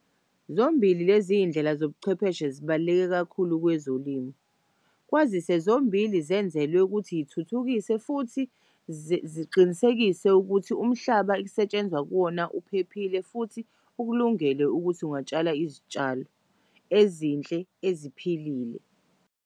Zombili lez'iy'ndlela zobuchwepheshe zibaluleke kakhulu kwezolimo kwazise zombili zenzelwe ukuthi zithuthukise futhi ziqinisekise ukuthi umhlaba okusetshenzwa kuwona uphephile futhi ukulungele ukuthi ungatshala izitshalo ezinhle eziphilile.